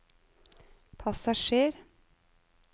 passasjer